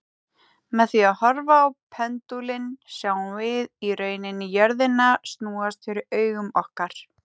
Með því að horfa á pendúlinn sjáum við í rauninni jörðina snúast fyrir augum okkar.